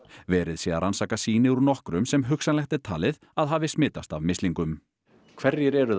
verið sé að rannsaka sýni úr nokkrum sem hugsanlegt er talið að hafi smitast af mislingum hverjir eru